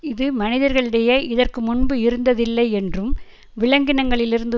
இது மனிதர்களிடையே இதற்கு முன்பு இருந்ததில்லை என்றும் விலங்கினங்களிலிருந்து